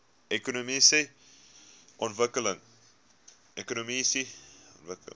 ekonomiese ontwikkeling